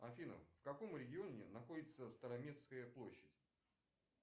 афина в каком регионе находится староместская площадь